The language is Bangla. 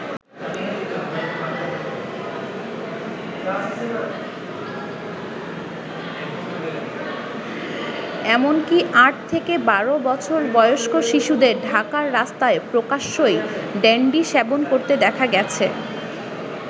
এমনকী আট থেকে বারো বছর বয়স্ক শিশুদের ঢাকার রাস্তায় প্রকাশ্যেই ড্যান্ডি সেবন করতে দেখা গেছে।